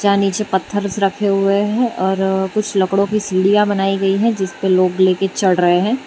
जहां नीचे पत्थर रखे हुए है और कुछ लकड़ों की सीढ़ियां बनाई गई है जिसपे लोग लेके चढ़ रहे हैं।